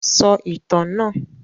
Sọ ìtàn náà!